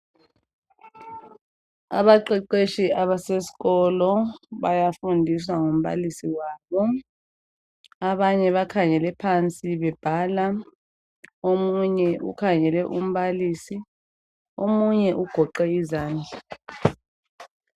Abaqeqeshi abasesikolo bayafundiswa ngumbalisi wabo .abanye bakhangele phansi bebhala ,omunye ukhangele umbalisi ,omunye ugoqe izandla .